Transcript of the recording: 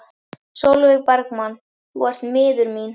Sólveig Bergmann: Þú ert miður þín?